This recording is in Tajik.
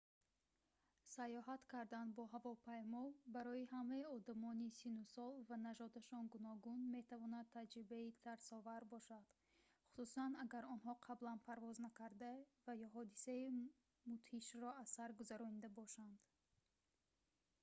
сайёҳат кардан бо ҳавопаймо барои ҳамаи одамони синну сол ва нажодашон гуногун метавонад таҷрибаи тарсовар бошад хусусан агар онҳо қаблан парвоз накарда ва ё ҳодисаи мудҳишро аз сар гузаронда бошанд